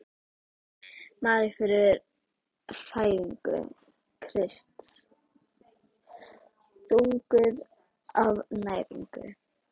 Maríu fyrir fæðingu Krists: þunguð af næringu.